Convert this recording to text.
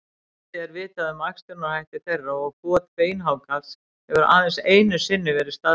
Lítið er vitað um æxlunarhætti þeirra og got beinhákarls hefur aðeins einu sinni verið staðfest.